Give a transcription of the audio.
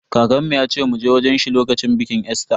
Kakanmu yace mu je wajen shi lokacin bikin Easter.